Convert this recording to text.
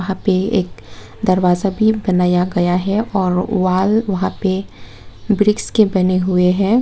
यहां पे एक दरवाजा भी बनाया गया है और वाल वहां पे ब्रिक्स के बने हुए हैं।